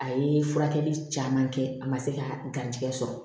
A ye furakɛli caman kɛ a ma se ka garijigɛ sɔrɔ